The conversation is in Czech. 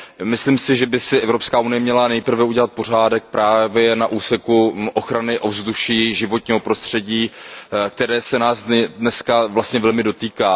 Myslím si, že by si Evropská unie měla nejprve udělat pořádek právě na úseku ochrany ovzduší, životního prostředí, které se nás dnes velmi dotýká.